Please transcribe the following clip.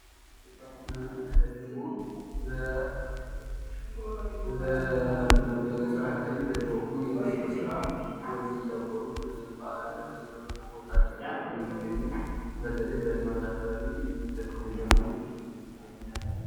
ይሄ ደግሞ በገጠር አካባቢ ሁኖ የመስኖ ስራ ዉሀወችን እያቆሩ ውሀ ለመስኖ ስራ እያዘጋጁ ነው የሚገኙት። በተለይ በልማት አካባቢ የሚጠቀሙበት ነው።